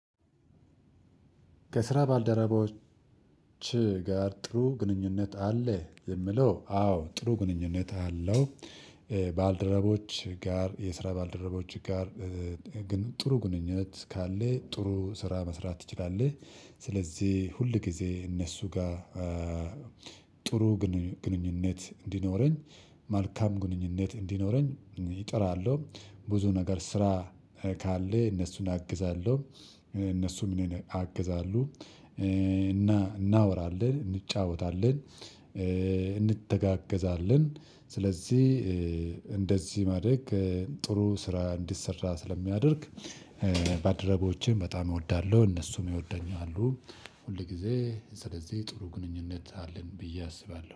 ከስራ ባልደረባዎች ጋር ጥሩ ግንኙነት አለ የሚለው አዎ ጥሩ ግንኙነት አለው። ባልደረቦች ጋር የስራ ባልደረቦች ጋር ግን ጥሩ ግንኙነት ካለ ጥሩ ስራ መስራት ትችላለህ። ስለዚህ ሁል ጊዜ እነሱ ጋር ጥሩ ግንኙነት እንዲኖረኝ መልካም ግንኙነት እንዲኖረኝ እጥራለሁ። ብዙ ነገር ስራ ካለ እነሱን አግዛለሁ እነሱም እኔን ያግዛሉ። እና እናወራለን እንጫወታለን። እንተጋገዛለን ስለዚህ እንደዚህ ማድረግ ከጥሩ ስራ እንዲሰራ ስለሚያደርግ። ባልደረቦችን በጣም እወዳለሁ እነሱም ይወደኛሉ። ሁል ጊዜ ስለዚህ ጥሩ ግንኙነት አለን ብዬ አስባለሁ